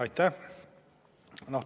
Aitäh!